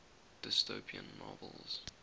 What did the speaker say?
dystopian novels